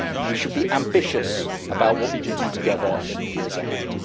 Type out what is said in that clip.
We should be ambitious about what we can do together in the years ahead.